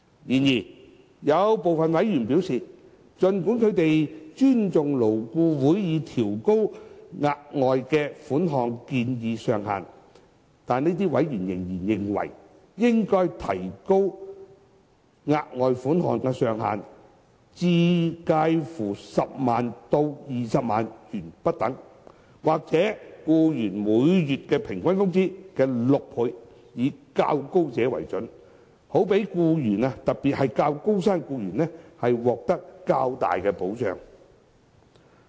然而，有部分委員表示，儘管他們尊重勞顧會已調高額外款項的建議上限，這些委員仍然認為，應提高額外款項的上限至介乎10萬元至20萬元，或僱員每月平均工資的6倍，以較高者為準，好讓僱員，特別是較高薪的僱員，獲得較大保障。